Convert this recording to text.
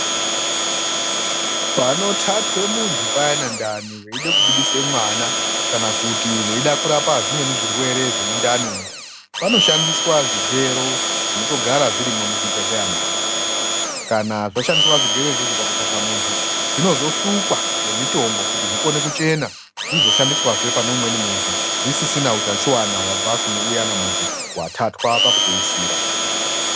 Panothatwa munhu payani ndani veide kubudise mwana kana kuti veide kurapa zvimweni zvirwere zvemundani umu, vanoshandise zvigero zvinotogara zvirimwo muzvibhedhlera muyani. Kana zvashandiswa zvigero zviyani pakuthatha muntu zvinozosukwa ngemitombo kuti zvikone kuchena, zvinoshandiswazve pane umweni muntu zvisisina utachiwana hwabva munhu uyani wathatwa pekupedzisira.